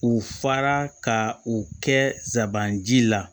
U fara ka o kɛ sabanan ji la